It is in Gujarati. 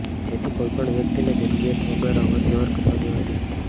જેથી કોઇ પણ વ્યકિતને જરૂરિયાત વગર અવરજવર કરવા દેવાતી નથી